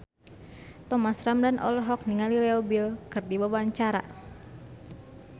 Thomas Ramdhan olohok ningali Leo Bill keur diwawancara